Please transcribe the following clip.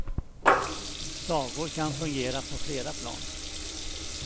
Sagor kan fungera på flera plan.